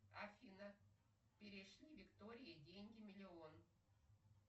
афина перешли виктории деньги миллион